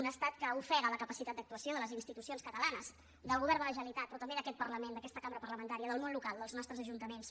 un estat que ofega la capacitat d’actuació de les institucions catalanes del govern de la generalitat però també d’aquest parlament d’aquesta cambra parlamentària del món local dels nostres ajuntaments